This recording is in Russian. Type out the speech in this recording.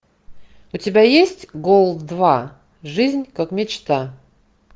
у тебя есть голд два жизнь как мечта